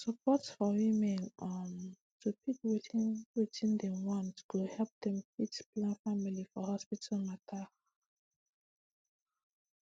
support for women um to pick wetin wetin dem want go help dem fit plan family for hospital matter